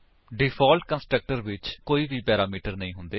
default constructor ਵਿੱਚ ਕੋਈ ਵੀ ਪੈਰਾਮੀਟਰਸ ਨਹੀਂ ਹੁੰਦੇ ਹਨ